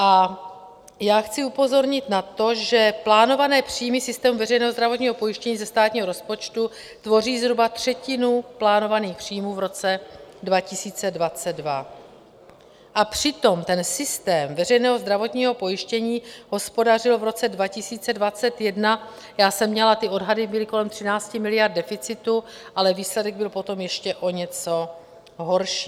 A já chci upozornit na to, že plánované příjmy systému veřejného zdravotního pojištění ze státního rozpočtu tvoří zhruba třetinu plánovaných příjmů v roce 2022, a přitom ten systém veřejného zdravotního pojištění hospodařil v roce 2021, já jsem měla, ty odhady byly kolem 13 miliard deficitu, ale výsledek byl potom ještě o něco horší.